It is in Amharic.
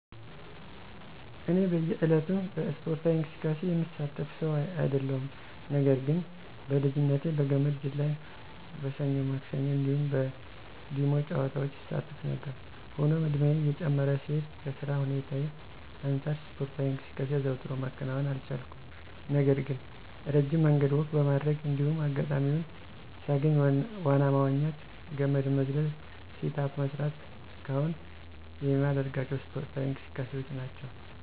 እኔ በእየ ዕለቱ በእስፖርታዊ እንቅስቃሴ የምሳተፍ ሰው አይደለሁም። ነገር ግን በልጅነቴ በገመድ ዝላይ፣ በሰኞ ማክሰኞ እንዲሁም በ ዲሞ ጨዋታዎች እሳተፍ ነበር። ሆኖም እድሜየ እየጨመረ ሲሄድ ከ ስራ ሁኔታየ አንጻር እስፖርታዊ እንቅስቃሴ አዘውትሮ ማከናወን አልቻልኩም። ነገር ግን እረጅም መንገድ ወክ በማድረግ እንዲሁም አጋጣሚዉን ሳገኝ ዋና መዋኘት፣ ገመድ መዝለል፣ ሴት አፕ መስራት እስከ አሁን የማደርጋቸው እስፖርዊ እንቅስቃሴዎች ናቸው።